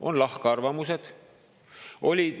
On lahkarvamusi.